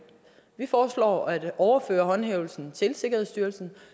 vi foreslår at overføre håndhævelsen til sikkerhedsstyrelsen